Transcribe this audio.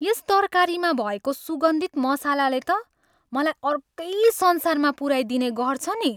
यस तरकारीमा भएको सुगन्धित मसलाले त मलाई अर्कै संसारमा पुऱ्याइदिने गर्छ नि।